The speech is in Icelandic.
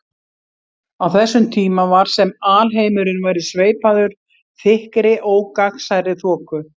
Á þessum tíma var sem alheimurinn væri sveipaður þykkri ógagnsærri þoku.